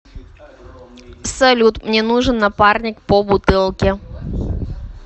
салют мне нужен напарник по бутылке